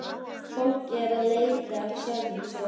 Fólk er að leita að sjálfu sér.